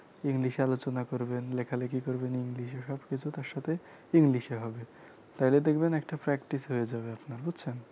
english এ আলোচনা করবেন লেখালেখি করবেন english এ সবকিছু তার সাথে english এ হবে তাহলে দেখবেন একটা practice হয়ে যাবে আপনার বুঝছেন